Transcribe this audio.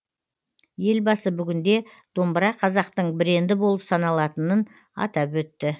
елбасы бүгінде домбыра қазақтың бренді болып саналатынын атап өтті